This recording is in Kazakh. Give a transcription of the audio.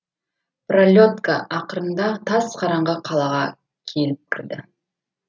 пролетка ақырында тас қараңғы қалаға келіп кірді